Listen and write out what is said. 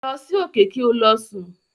Lọ sí òkè kí o lọ sùn.